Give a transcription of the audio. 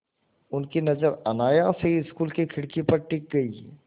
उनकी नज़र अनायास ही स्कूल की खिड़की पर टिक गई